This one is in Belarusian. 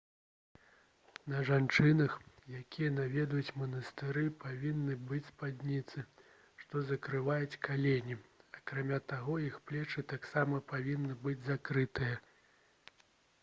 на жанчынах якія наведваюць манастыры павінны быць спадніцы што закрываюць калені акрамя таго іх плечы таксама павінны быць закрытыя